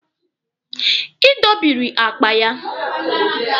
Ị dọbịrị akpa ya.